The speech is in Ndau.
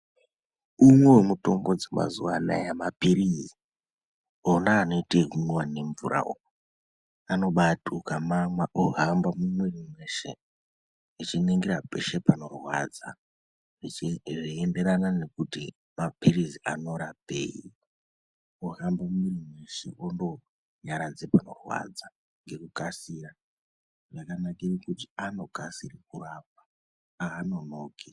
Umwe wemutombo wemazuva anawa mapirizi ona anoitwa nekumwiwa nemvura anobati ukamamwa ohamba mumwiri meshe echiningira peshe panorwadza zveiendererana nekuti mapirizi anorapei worapwa mumwiri meshe wondonyaradzwa panorwadza ngekukasira zvakanakira kuti anokasira kurapa hanonoki.